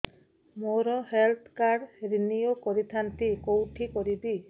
ମୋର health card renew କରିଥାନ୍ତି କୋଉଠି କରିବି